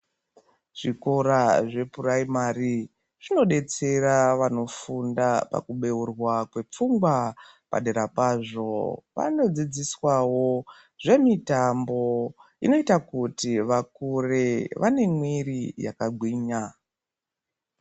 Zvikora zvephuraimari zvinodetsera vanofunda pakubeurwa kwepfungwa, padera pazvo vanodzidziswawo zvemitambo inoita kuti vakure vane mwiiri vakagwinya.